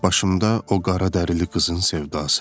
Başımda o qara dərili qızın sevdası.